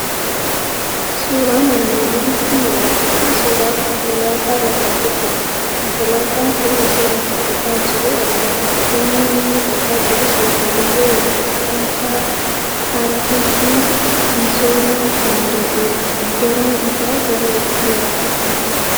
Suuraan armaan olitti mul'atu kun suuraa konkolaataa lafa qotudha. Konkolaataan kuni osoo lafa qotaa jiruu argama. Naannoon inni qotaa jirus lafa dirree wal-qixxxaataa hallisiin misoomuu danda'udha. Yeroon isaa gara waqtii arfaasaati.